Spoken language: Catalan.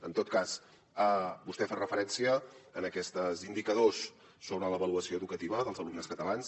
en tot cas vostè fa referència a aquests indicadors sobre l’avaluació educativa dels alumnes catalans